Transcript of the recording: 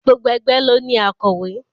Gbogbo ẹgbẹ́ ló ní akọ̀wé.